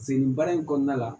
Sen nin baara in kɔnɔna la